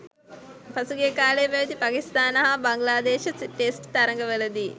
පසුගිය කාලයේ පැවැති පාකිස්තාන හා බංග්ලාදේශ ටෙස්ට් තරගවලදී